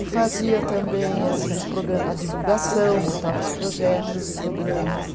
E fazia também assim os progra, a divulgação, montava os projetos, os programas.